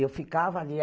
Eu ficava ali.